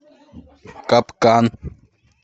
капкан